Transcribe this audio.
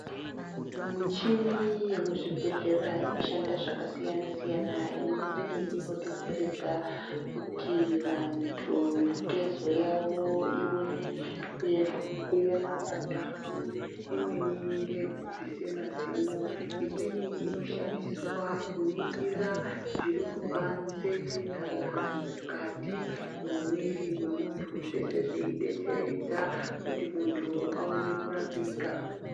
Michini yemuzvibhehlera inoshanda zvakasiyanasiyana imweni inodetseredza kuti vantu mitezo yavo ione kuema pandau imweni ngeyekubvise mazino imweni inoshandiswa kuningira zviri kubanzi kana mukati mwemwiri wemuntu zveshe zvichidetseredza kuti muntu aone kurapika.